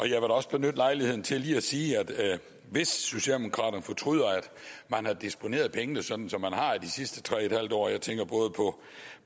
da også benytte lejligheden til lige at sige at hvis socialdemokraterne fortryder at man har disponeret pengene sådan som man har de sidste tre en halv år jeg tænker både på